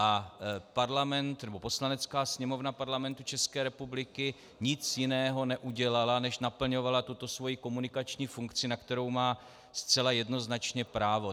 A Poslanecká sněmovna Parlamentu České republiky nic jiného neudělala, než naplňovala tuto svoji komunikační funkci, na kterou má zcela jednoznačně právo.